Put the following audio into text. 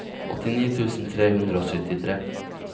åttini tusen tre hundre og syttitre